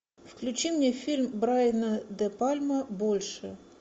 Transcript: включи мне фильм брайана де пальма больше